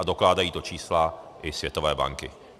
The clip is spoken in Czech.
A dokládají to čísla i Světové banky.